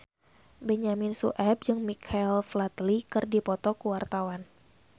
Benyamin Sueb jeung Michael Flatley keur dipoto ku wartawan